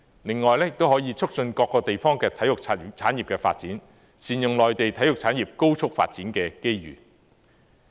另外也可以促進各個地方體育產業的發展，善用內地體育產業高速發展的機遇。